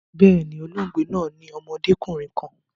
Bẹ́ẹ̀ni, olóògbe naa ni ọmọdekunrin kan